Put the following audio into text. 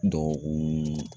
Dɔkɔkun